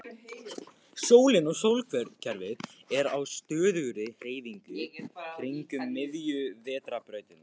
Sólin og sólkerfið er á stöðugri hreyfingu kringum miðju Vetrarbrautarinnar.